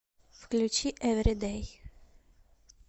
включи эври дэй